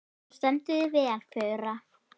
Þú stendur þig vel, Fura!